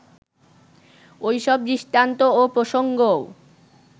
ওই সব দৃষ্টান্ত ও প্রসঙ্গও